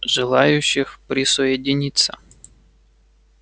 желающих присоединиться